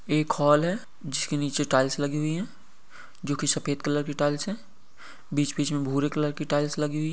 एक हॉल है जिसके नीचे टाइल्स लगी हुई हैं जो कि सफेद कलर की टाइल्स हैं। बीच-बीच में भूरे कलर की टाइल्स लगी हुई --